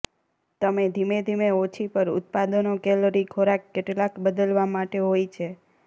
તમે ધીમે ધીમે ઓછી પર ઉત્પાદનો કેલરી ખોરાક કેટલાક બદલવા માટે હોય છે